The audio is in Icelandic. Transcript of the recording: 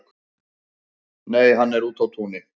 Nei, hann er úti á túni